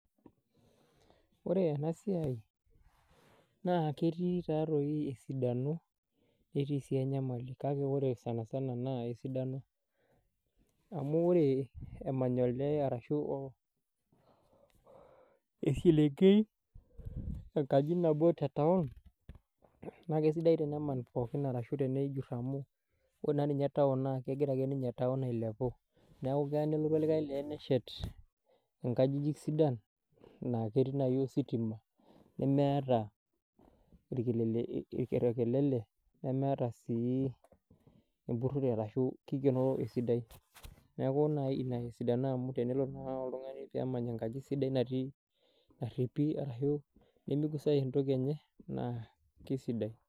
Wore ena siai, naa ketii taatoi esidano netii sii enyamali. Kake wore sanisana naa esidano. Amu wore emany olee arashu eselenkei enkaji nabo tetaon. Naa kaisidai tenaman pookin arashu tenejur amu wore naa ninye taon na kekira ake ninye taon ailepu. Neeku keya nelotu olikae lee neshet inkajijik sidan, naa ketii naii ositima, nemeeta orkelele, nemeeta sii empurore arashu kikienoro esidai. Neeku naa inia esidano amu tenelotu naaji oltungani peemany enkaji sidai naripi arashu nimigusai entoki enye naa kaisidai.